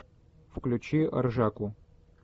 включи ржаку